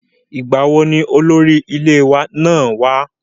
ìgbà wo ni olórí ilé ìwé náà wá?